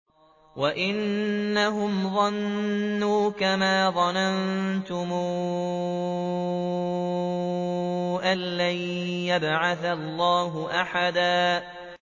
وَأَنَّهُمْ ظَنُّوا كَمَا ظَنَنتُمْ أَن لَّن يَبْعَثَ اللَّهُ أَحَدًا